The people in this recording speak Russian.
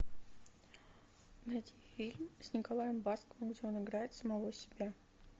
найди фильм с николаем басковым где он играет самого себя